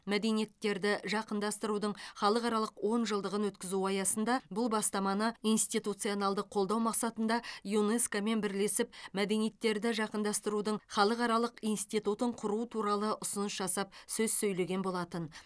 мәдениеттерді жақындастырудың халықаралық онжылдығын өткізу аясында бұл бастаманы институционалды қолдау мақсатында юнеско мен бірлесіп мәдениеттерді жақындастырудың халықаралық институтын құру туралы ұсыныс жасап сөз сөйлеген болатын